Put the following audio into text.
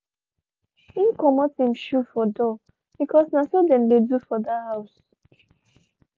him comot him shoe for door because na so them dey do for that house.